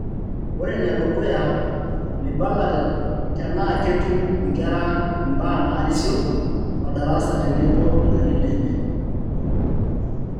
Ore ne dukuyu, mebala tenaa ketum inkera imbaa nairisio odarasa tenebo ilarin lenya.